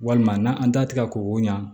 Walima n'an datigɛ ko o ɲa